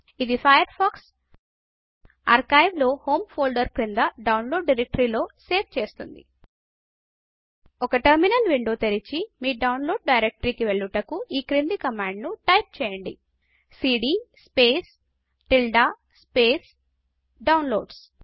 ఇది Firefox archive లో home folder క్రింద డౌన్లోడ్ డైరెక్టరీకి లో సేవ్ చేస్తుంది ఒక టెర్మినల్ విండో తెరిచి మీ డౌన్ లోడ్ డైరెక్టరీ కి వెళ్ళుటకు ఈ క్రింది కమాండ్ను టైపు చేయండి160 CD Downloads CD space tilde slash down loads